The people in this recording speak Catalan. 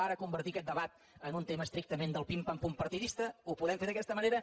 ara convertir aquest debat en un tema estrictament del pim·pam·pum partidista ho podem fer d’aquesta ma·nera